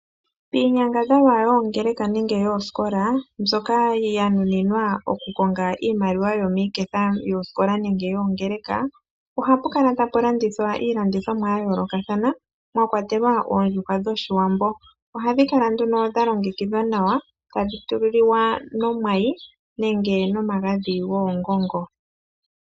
Piinyangadhalwa yoongeleka nenge yooskola mbyoka yanuninwa okukonga iimaliwa yomoshiketha yooskola nenge yoongeleka ohapu kala tapu landithwa iilandithomwa yayoolokathana mwakwatelwa oondjuhwa dhoshiwambo ohadhi kala nduno dhalongekithwa nawa tadhi liwa nomwayi nenge nomagadhi goongongo.